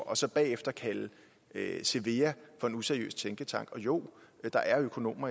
og så bagefter kalde cevea for en useriøs tænketank jo der er økonomer i